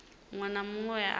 muṅwe na muṅwe we a